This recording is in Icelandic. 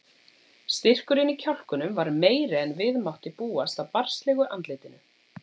Styrkurinn í kjálkunum var meiri en við mátti búast af barnslegu andlitinu.